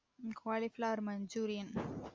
um cauliflower manjurian